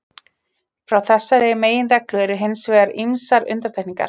Frá þessari meginreglu eru hins vegar ýmsar undantekningar.